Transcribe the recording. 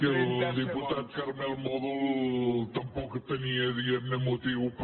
que el diputat carmel mòdol tampoc tenia diguem ne motiu per